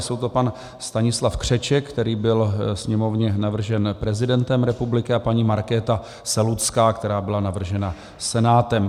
Jsou to pan Stanislav Křeček, který byl Sněmovně navržen prezidentem republiky, a paní Markéta Selucká, která byla navržena Senátem.